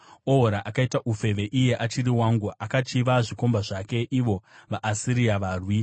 “Ohora akaita ufeve iye achiri wangu; akachiva zvikomba zvake, ivo vaAsiria, varwi